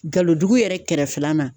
Galon dugu yɛrɛ kɛrɛfɛla na.